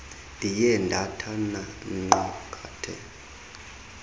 ndiye ndathana nqwakatha